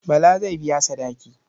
Bala zai biya sadaki.